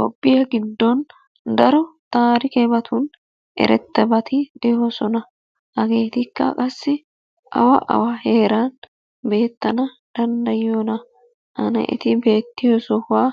Toophphiya giddon daro taarikkebatun eretabati de'oosona. Hageetikka qassi awa awa heeran beetrana danddayiyona? Ane eti beettiyo sohuwa